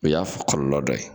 O y'a kɔlɔlɔ dɔ ye